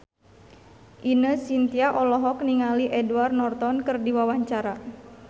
Ine Shintya olohok ningali Edward Norton keur diwawancara